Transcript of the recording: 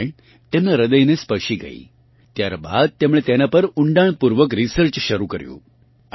રામાયણ તેમનાં હ્રદયને સ્પર્શી ગયી ત્યાર બાદ તેમણે તેનાં પર ઊંડાણપૂર્વક રિસર્ચ શરૂ કર્યું